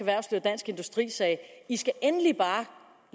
industri sagde i skal endelig bare